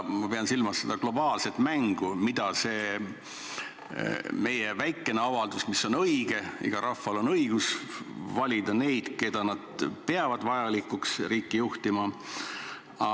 Ma pean silmas seda globaalset mängu, mida see meie väikene avaldus, mis on õige – igal rahval on õigus valida neid, keda nad peavad vajalikuks riiki juhtima –, puudutab.